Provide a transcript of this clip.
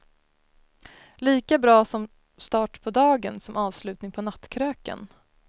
Lika bra som start på dagen, som avslutning på nattkröken.